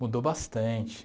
Mudou bastante.